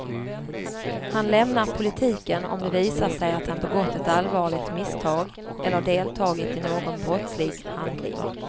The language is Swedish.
Han lämnar politiken om det visar sig att han begått ett allvarligt misstag eller deltagit i någon brottslig handling.